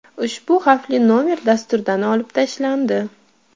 Ushbu xavfli nomer dasturdan olib tashlandi.